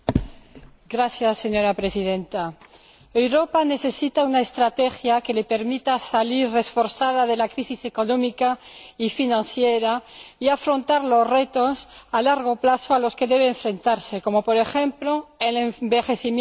Señora Presidenta, Europa necesita una estrategia que le permita salir reforzada de la crisis económica y financiera, y afrontar los retos a largo plazo a los que debe enfrentarse, como por ejemplo el envejecimiento de la población.